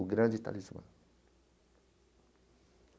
O grande Talismã.